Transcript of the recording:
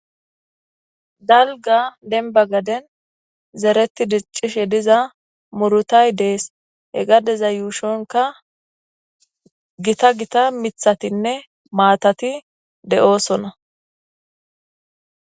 dalga denba gaden zereti diccishe diza murutay dees he gadeza yuushonka gita gita mithatinne maatati de7oosona